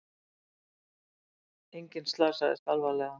Enginn slasaðist alvarlega